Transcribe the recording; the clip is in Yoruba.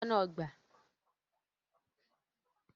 Lọ bá àwọn aṣọ́nà ọgbà!